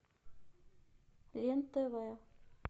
лен тв